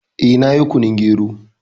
Eh, na yi kunun gero